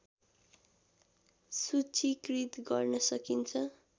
सूचिकृत गर्न सकिन्छ